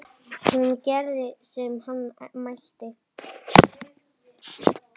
Hún gerði sem hann mælti.